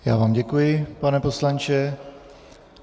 Já vám děkuji, pane poslanče.